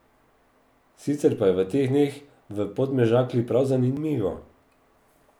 Sicer pa je v teh dneh v Podmežakli prav zanimivo.